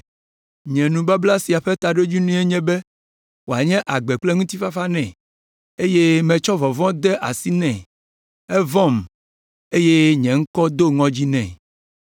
“Nye nubabla sia ƒe taɖodzinue nye be wòanye agbe kple ŋutifafa nɛ eye metsɔ vɔvɔ̃ de asi nɛ, evɔ̃m eye nye ŋkɔ do ŋɔdzi nɛ.